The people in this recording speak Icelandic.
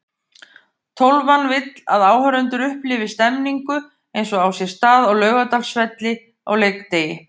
Tólfan vill að áhorfendur upplifi stemningu eins og á sér stað á Laugardalsvelli á leikdegi.